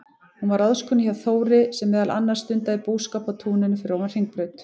Hún var ráðskona hjá Þóri, sem meðal annars stundaði búskap á túninu fyrir ofan Hringbraut.